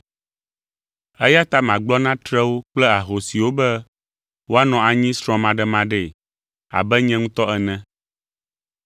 Eya ta magblɔ na trewo kple ahosiwo be woanɔ anyi srɔ̃maɖemaɖee abe nye ŋutɔ ene.